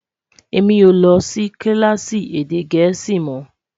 èmi ọ ló Si kilaasi èdè gèésì mọ